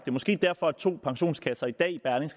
er måske derfor to pensionskasser i dag